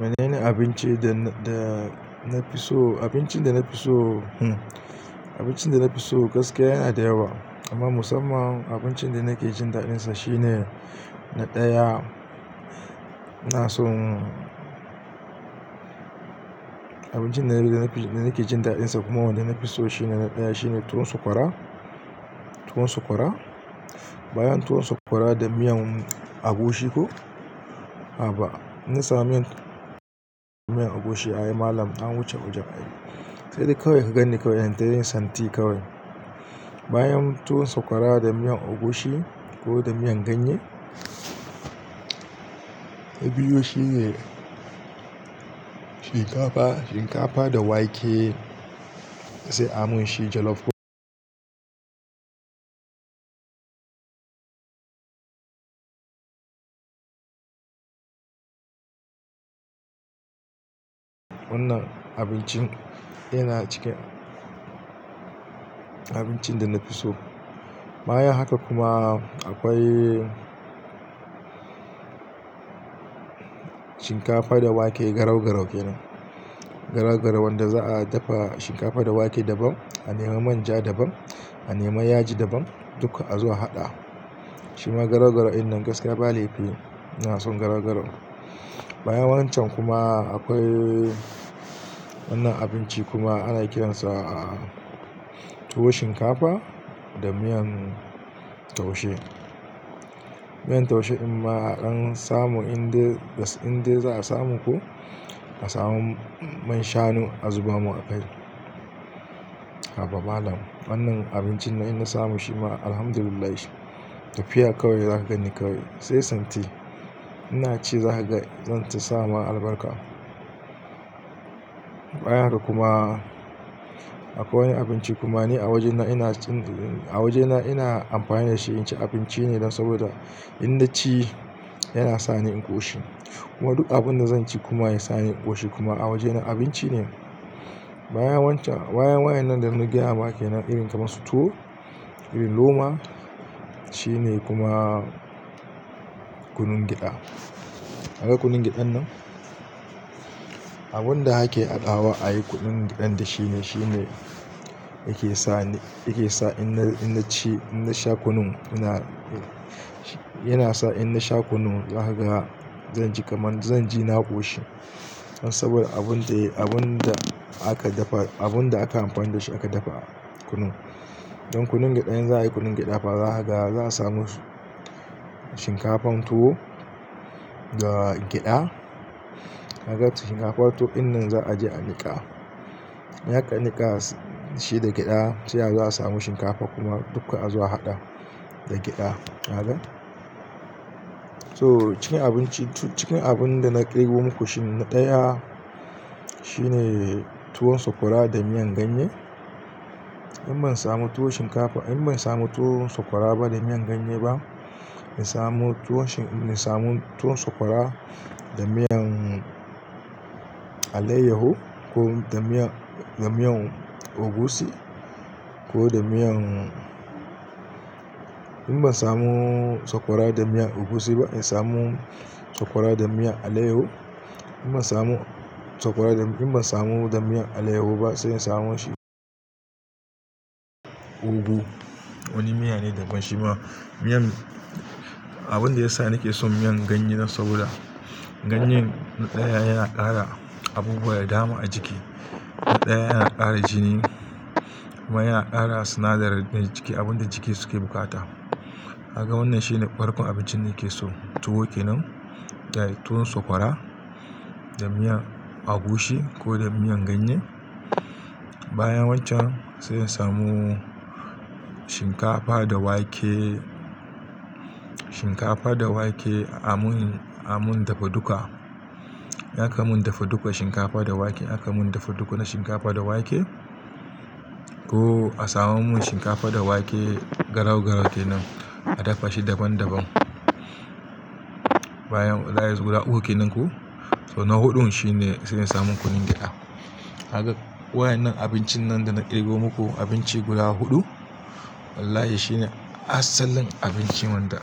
Menene abinci da nafi so? Abincin dana fi so gaskiya yana da yawa amma musamman abincin da nake jin daɗinsa shine na ɗaya. Abincin da nake jin daɗinsa kuma wanda nafi so shine na ɗaya, tuwon sakwara. Tuwon sakwara da miyan agushi ko. A'a ba in na samu miyan agushi. Ai malam an wuce wajen. Sai dai kawai ka ganni kawai, sai dai santi kawai. Bayan tuwon sakwara da miyan agushi ko da miyan ganye, na biyu shine shinkafa da wake sai amun shi jollof. Wannan abincin yana cikin abincin da nafi so. Bayan haka kuma akwai shinkafa da wake garau-garau kenan. Garau-garau wanda za'a dafa shinkafa da wake daban, a nemi manja daban, a nemi yaji daban duk azo a haɗa. Shima garau-garau dinnan gaskiya ba laifi inason garau-garau. Bayan wancan kuma akwai wannan abinci kuma ana kiransa tuwo shinkafa da miyan taushe. Miyan taushe inma a kan samu inda za'a samu ko a samu man shanu a zuba mun a kai. Haba malam wannan abincin in na samu shima Alhamdulillah tafiya kawai zaka gani kawai sai santi. Inaci zakage zanta sama albarka. Bayan haka kuma akwai wani abinci kuma ni a wajena ina amfani da shi inci abinci ne don saboda in naci yana sani in ƙoshi. Kuma duk abun da zanci kuma yasani in ƙoshi kuma a wajena abinci ne. Bayan wayannan dana gayama kenan irin kamar su tuwo, irin loma shine kuma kunun gyaɗa. Kaga kunun gyaɗan nan abun da ake haɗawa ayi kunun gyaɗan da shine yake sa in na sha kunun yana sa in nasha kunun zakaga zanji kamar zanji na ƙoshi. Saboda abunda aka amfani dashi aka dafa kunun. Don kunun gyaɗa in za'ayi kunun gyaɗa fa zakaga za'a samu shinkafan tuwo da gyaɗa. Kaka shinkafan tuwo dinnan za'aje a niƙa. In aka niƙa shi da gyaɗa sai azo a samu shinkafa kuma duka azo a haɗa da gyaɗa. Toh cikin abinci? To cikin abunda na kirgo muku shi na ɗaya shine tuwon sakwara da miyan ganye. In ban samu tuwon sakwara da miyan ganye ba na samu tuwon sakwara da miyan allayyahu ko da miyan agushi. In ban samu sakwara da miyan agushi ba in samu sakwara da miyan allayyahu. In ban samu da miyan allayyahu ba sai in samo shi ogu. Wani miya ne daban shima. Miyan, abunda yasa nake son miyan ganye saboda ganye na ɗaya yana ƙara abubuwa da dama a jiki. Na ɗaya yana ƙara jini kuma yana ƙara sinadaran jiki abinda jiki suke bukata. Kaga wannan shine farkon abincin da nakeso tuwo kenan da tuwon sakwara da miyan agushi ko da miyan ganye. Bayan wancan sai in samu shinkafa da wake a mun dafa duka. In akamun dafa dukan shinkafa da wake akamun dafa duk na shinkafa da wake ko a samo mun shinkafa da wake garau-garau kenan a dafa shi daban daban. Bayan wayan guda uku kenan ko to na huɗun shine sai in samu kunun gyaɗa. Kaga wayennan abincin nan dana kirgo muku abinci guda huɗu wallahi shine asalin abinci wanda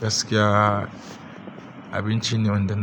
gaskiya abinci ne wanda na.